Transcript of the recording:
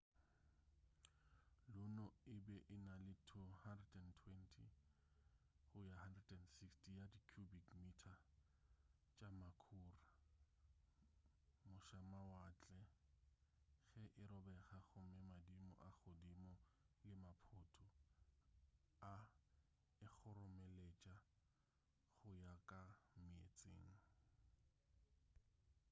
luno e be e na le 120-160 ya di cubic mita tša makhura mošamawatle ge e robega gomme madimo a godimo le maphoto a e kgoromeletša go ya ka meetseng